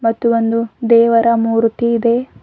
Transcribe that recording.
ಮತ್ತು ಒಂದು ದೇವರ ಮೂರ್ತಿ ಇದೆ.